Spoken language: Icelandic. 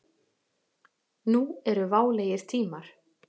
Nú eru válegir tímar.